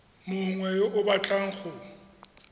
mongwe yo o batlang go